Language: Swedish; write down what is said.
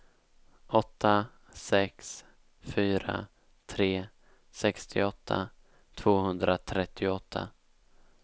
åtta sex fyra tre sextioåtta tvåhundratrettioåtta